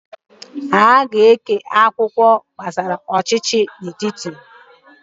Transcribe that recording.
Ha na-eke akwụkwọ akụkọ gbasara ọchịchị etiti.